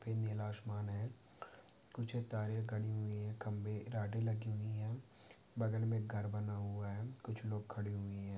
नीला आसमान है कुछ तारे खड़ी हुई है खंबे राडे लगे हुए है बगल मे घर बना हुआ है कुछ लोग खड़े हुए है।